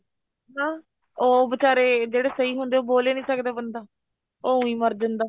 ਹਾਂ ਉਹ ਵਿਚਾਰੇ ਜਿਹੜੇ ਸਹੀ ਹੁੰਦੇ ਏ ਉਹ ਬੋਲ ਈ ਨਹੀਂ ਸਕਦਾ ਬੰਦਾ ਉਹ ਉਈਂ ਮਾਰ ਜਾਂਦਾ